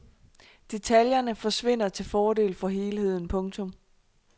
Detaljerne forsvinder til fordel for helheden. punktum